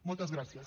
moltes gràcies